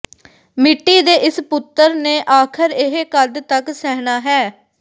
ਮਿੱਟੀ ਦੇ ਇਸ ਪੁੱਤਰ ਨੇ ਆਖਰ ਇਹ ਕਦ ਤੱਕ ਸਹਿਣਾ ਹੈ